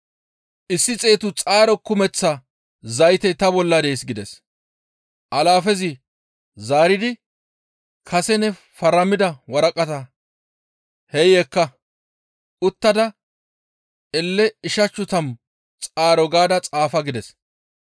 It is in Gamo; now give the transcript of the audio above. « ‹Issi xeetu xaaro kumeththa zaytey ta bolla dees› gides; alaafezi zaaridi kase ne faramida waraqataa hey ekka uttada elle ichchashu tammu xaaro gaada xaafa gides.